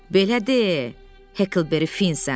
Belə de, Heklberi Finsən.